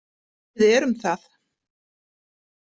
Við erum það.